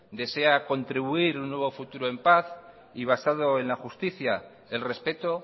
desea contribuir un nuevo futuro en paz y basado en la justicia el respeto